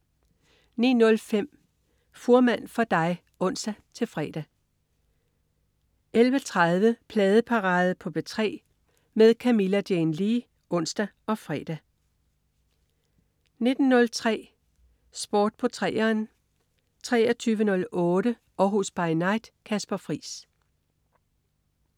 09.05 Fuhrmann for dig (ons-fre) 11.30 Pladeparade på P3 med Camilla Jane Lea (ons og fre) 19.03 Sport på 3'eren 23.08 Århus By Night. Kasper Friis